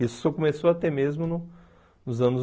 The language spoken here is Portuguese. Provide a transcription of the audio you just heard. Isso só começou a ter mesmo no nos anos